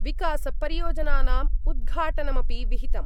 विकासपरियोजनानाम् उद्घाटनमपि विहितम्।